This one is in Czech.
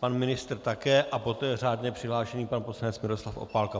pan ministr také a poté řádně přihlášený pan poslanec Miroslav Opálka.